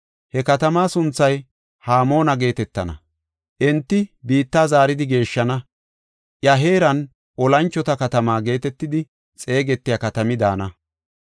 He katama sunthay Hamoona geetetana. Enti biitta zaaridi geeshshana. Iya heeran, “Olanchota Katamaa” geetetidi xeegetiya katami daana.